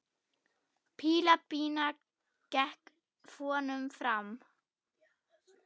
Píla Pína gekk vonum framar.